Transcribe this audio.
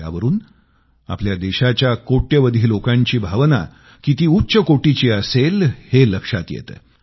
यावरून आपल्या देशाच्या कोट्यवधी लोकांची भावना किती उच्च कोटीची असेल हे लक्षात येतं